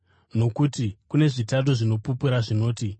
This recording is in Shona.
Nokuti kune zvitatu zvinopupura zvinoti: